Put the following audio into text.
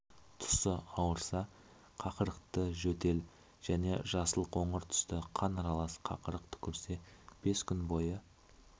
тұсы ауырса қақырықты жөтел және жасыл қоңыр түсті қан аралас қақырық түкірсе бес күн бойы